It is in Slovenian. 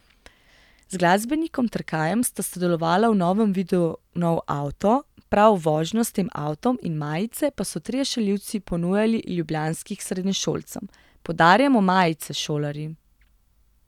Z glasbenikom Trkajem sta sodelovala v novem videu Nov avto, prav vožnjo s tem avtom in majice pa so trije šaljivci ponujali ljubljanskih srednješolcem: 'Podarjamo majice, šolarji.